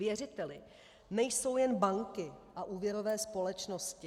Věřiteli nejsou jen banky a úvěrové společnosti.